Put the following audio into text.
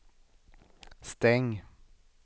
stäng